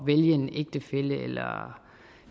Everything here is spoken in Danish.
vælge en ægtefælle